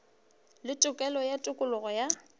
le tokelo ya tokologo ya